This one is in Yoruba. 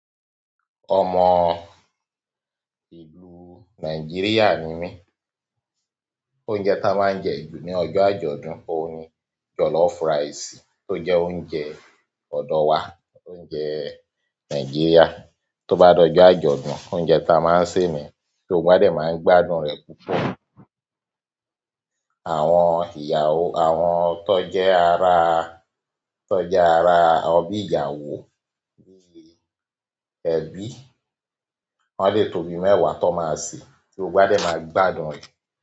Ọmọ ìlú Nàìjíríà ni mí, oúnjẹ ta máa ń jẹ jù ní ọjọ́ àjọ̀dún, òun ni jollof rice tó jẹ́ oúnjẹ ọ̀dọ̀ wa, oúnjẹ Nàìjíríà. Tó bá dọjọ àjọ̀dún, oúnjẹ ta máa ń sè ni ti gbogbo wa dẹ máa ń gbádùn rẹ̀ púpọ̀. Àwọn ìyàwó, àwọn tó jẹ́ ara, tó jẹ́ ara ọ bí ìyàwó nílé ẹbí, wọ́n lè tó bi mẹ́wàá tan máa ṣe tí gbogbo dẹ máa gbádùn rẹ̀.